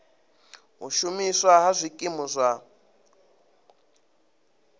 u shumiswa ha zwikimu zwa